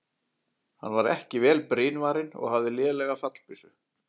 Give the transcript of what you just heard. Hann var ekki vel brynvarinn og hafði lélega fallbyssu.